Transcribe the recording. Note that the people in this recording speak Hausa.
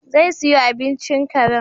Zai siyo abincin karen